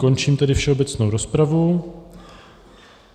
Končím tedy všeobecnou rozpravu.